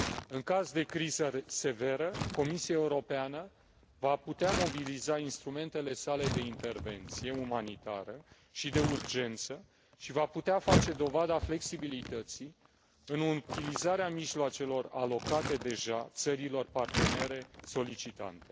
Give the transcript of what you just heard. În caz de criză severă, Comisia Europeană va putea mobiliza instrumentele sale de intervenție umanitară și de urgență și va putea face dovada flexibilității în utilizarea mijloacelor alocate deja țărilor partenere solicitante.